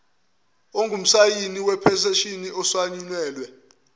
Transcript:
ongumsayini wephethishini ehlanganyelwe